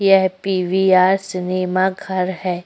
यह PVR cinema घर है।